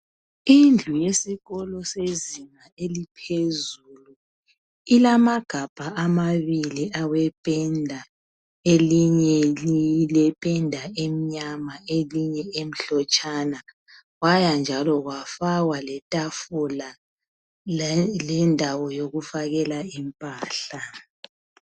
Indlu yesikolo sezinga eliphezulu, ilamagabha amabili awependa. Elinye lilependa emnyama elinye emhlotshana. Kwaya njalo kwafakwa letafula lelendawo yokufakela impahla.